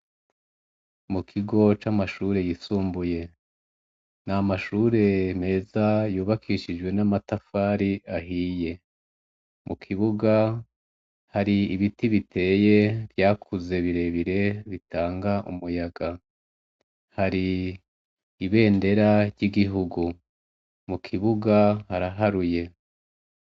Mu kigo c'amashure yisumbuye ni amashure meza yubakishijwe n'amatafari ahiye mu kibuga hari ibiti biteye vyakuze birebire bitanga umuyaga hari ibendera ry'igihugu mu kibuga haraharuye.